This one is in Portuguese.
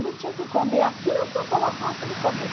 Ele tinha que comer aquilo que eu colocava para ele comer.